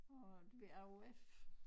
På ved AOF